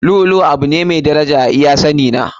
Lu'u lu'u abu ne mafi daraja a iya sani na.